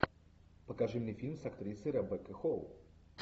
покажи мне фильм с актрисой ребеккой холл